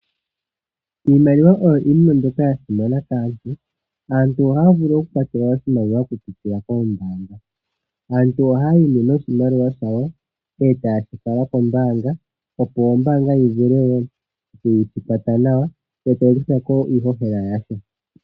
Iimaliwa oyo iinima mbyoka yasimana kaantu. Aantu ohaavulu okukwathelwa oshimaliwa okupitila koombanga. Aantu ohayii nee noshimaliwa shawo, eetaashifala koombaanga, opo oombanga yivule woo okuyitukwatha nawa yotayikuthako iihohela yasho.